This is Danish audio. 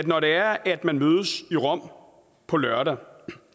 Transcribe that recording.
når det er at man mødes i rom på lørdag